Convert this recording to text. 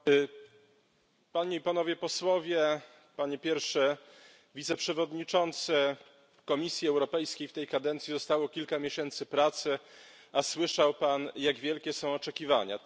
Pani Przewodnicząca! Panie i Panowie Posłowie! Panie Pierwszy Wiceprzewodniczący! Komisji Europejskiej w tej kadencji zostało kilka miesięcy pracy, a słyszał Pan, jak wielkie są oczekiwania.